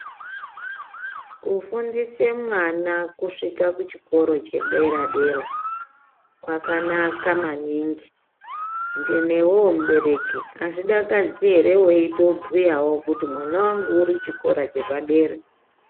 Kufundisa mwana kusvika kuchikora chedera dera kwakanaka maningi newewo mubereki azvidakadzi ere mweitobhuyawo kuti mwana wangu uri chikora chepadera.